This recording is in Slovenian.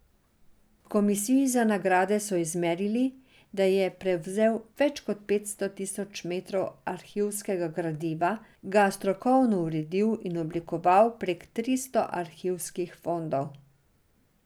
V komisiji za nagrade so izmerili, da je prevzel več kot petsto tekočih metrov arhivskega gradiva, ga strokovno uredil in oblikoval prek tristo arhivskih fondov.